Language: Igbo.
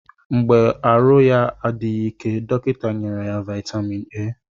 Mgbe arụ ya adịghị ike dọkịta nyere ya vitamin A